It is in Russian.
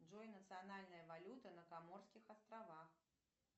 джой национальная валюта на коморских островах